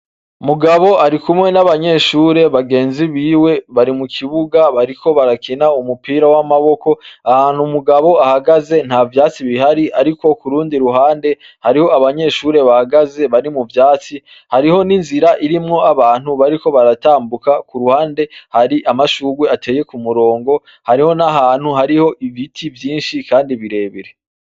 Mugabo ari kumwe n'abanyeshure bagenzi biwe bari mu kibuga bariko barakina umupira w'amaboko, ahantu mugabo ahagaze nta vyatsi bihari, ariko ku rundi ruhande hariho abanyeshure bahagaze bari mu vyatsi, hariho n'inzira irimwo abantu bariko baratambuka ku ruhande hari amashurwe ateye ku murongo, hariho n'ahantu hariho ibiti vyinshi kandi birebire.